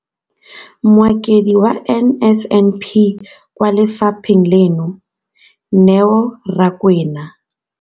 Mokaedi wa NSNP kwa lefapheng leno, Neo Rakwena,